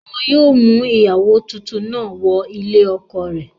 Wọn yóò mú ìyàwó tuntun náà wọ ilé ọkọ rẹ̀